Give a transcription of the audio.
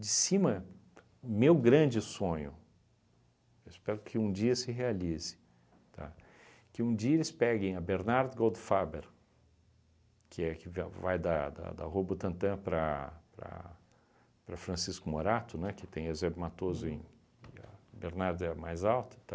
De cima, meu grande sonho, eu espero que um dia se realize, tá? Que um dia eles peguem a Bernard Goldfaber, que é que ve que vai de da Rua Butantã para para Francisco Morato, né, que tem Eusébio Matoso em e a Bernard é mais alta,